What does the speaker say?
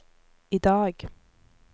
idag